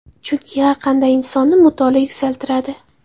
Chunki har qanday insonni mutolaa yuksaltiradi.